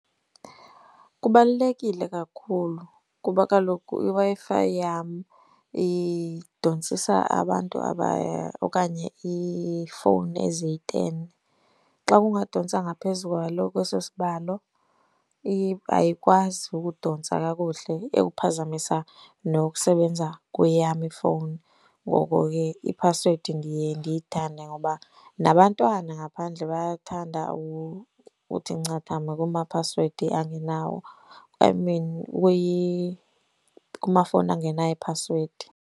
Kubalulekile kakhulu kuba kaloku iWi-Fi yam idontsisa abantu okanye iifowuni eziyi-ten. Xa kungadontsa ngaphezu kwalo kweso sibalo, ayikwazi ukudontsa kakuhle, iyawuphazamisa nokusebenza kweyam ifowuni. Ngoko ke iphasiwedi ndiye ndiyithande ngoba nabantwana ngaphandle bayathanda ukuthi ncathama kuma phasiwedi angenawo. I mean kumafowuni angenayo iphasiwedi.